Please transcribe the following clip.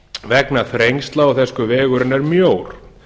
vegna þrengsla og þess hve vegurinn er mjór